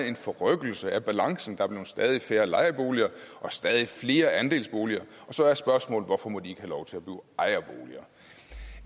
en forrykkelse af balancen der er blevet stadig færre lejeboliger og stadig flere andelsboliger og så er spørgsmålet hvorfor må de ikke lov til